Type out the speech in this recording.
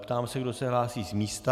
Ptám se, kdo se hlásí z místa.